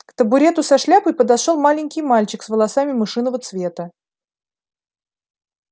к табурету со шляпой подошёл маленький мальчик с волосами мышиного цвета